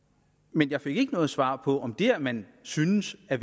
men jeg fik ikke noget svar på om det at man synes at